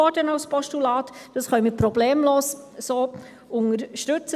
Dies können wir problemlos so unterstützen.